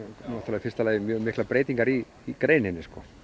í fyrsta lagi mjög miklar breytingar í í greininni